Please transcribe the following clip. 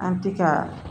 An ti ka